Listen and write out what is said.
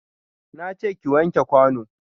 Na ce ki wanke kwano.